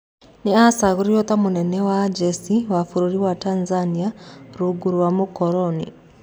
Nĩ acagũrirwo ta mũnene wa njeci wa bũrũri wa Tanzania rungu rwa mũkoroni.